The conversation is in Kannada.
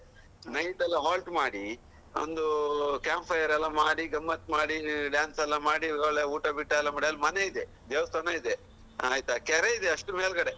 Night ಎಲ್ಲಾ holt ಮಾಡಿ ಒಂದು camp fire ಎಲ್ಲಾ ಮಾಡಿ ಗಮ್ಮತ್‌ ಮಾಡಿ dance ಎಲ್ಲಾ ಮಾಡಿ ಒಳ್ಳೆ ಊಟ ಬಿಟ್ಟು ಎಲ್ಲಾ ಮಾಡಿ ಅಲ್ ಮನೆಯಿದೆ ದೇವಸ್ಥಾನ ಇದೆ ಆಯ್ತಾ ಕೆರೆ ಇದೆ ಅಷ್ಟು ಮೇಲ್ ಗಡೆ.